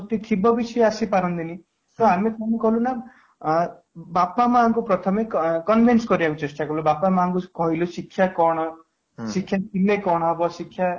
ଥିବେ ବି ସିଏ ଆସିପାରନ୍ତିନି ତ ଆମେ କ'ଣ କରିବୁ ନା ଆଁ ବାପା ମାଆ ଙ୍କୁ ପ୍ରଥମେ କ convince କରିବାକୁ ଚେଷ୍ଟା କଲୁ ବାପା ମାଆ ଙ୍କୁ କହିଲୁ ଶିକ୍ଷା କ'ଣ ? ଶିକ୍ଷା ଥିଲେ କ'ଣ ହେବ ? ଶିକ୍ଷା